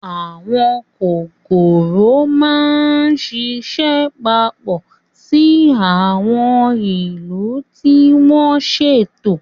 Àwọn kòkòrò máa ń ṣiṣẹ́ papọ̀ ní àwọn ìlú tí wọ́n ṣètò.